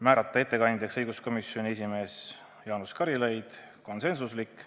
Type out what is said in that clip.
Ettekandjaks määrati õiguskomisjoni esimees Jaanus Karilaid, see oli konsensuslik otsus.